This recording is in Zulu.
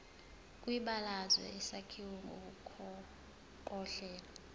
kwibalazwe isakhiwo ngokohlelo